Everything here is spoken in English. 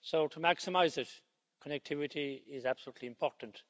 So to maximise it, connectivity is absolutely important.